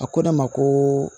A ko ne ma ko